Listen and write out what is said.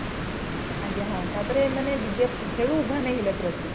ଆଜ୍ଞା ହଁ ତାପରେ ଏମାନେ ସେଠୁ ଉଭାନ ହେଇ ଗଲେ ପୁରା ପୁରି |